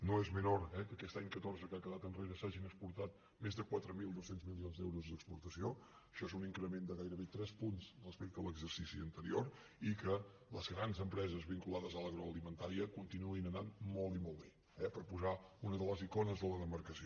no és menor que aquest any catorze que ha quedat enrere s’hagin exportat més de quatre mil dos cents milions d’euros d’exportació això és un increment de gairebé tres punts respecte a l’exercici anterior i que les grans empreses vinculades a l’agro·alimentària continuïn anant molt i molt bé per posar una de les icones de la demarcació